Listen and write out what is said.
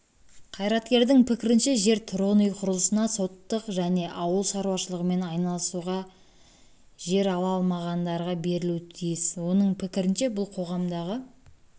қайраткердің пікірінше жер тұрғын үй құрылысына сотық және ауыл шаруашылығымен айналысуға га жер ала алмағандарға берілуі тиіс оның пікірінше бұл қоғамдағы